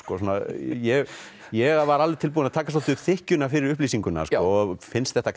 ég ég var alveg tilbúinn að taka upp þykkjuna fyrir upplýsinguna og finnst þetta